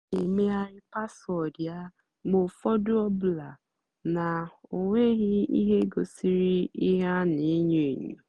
ọ́ nà-èmèghàrị́ páswóọ̀dụ́ yá mgbe ụ́fọ̀dụ́ ọ́bụ́làdì ná ọ́ nwèghị́ íhé gosírì íhé á nà-ènyó ènyó.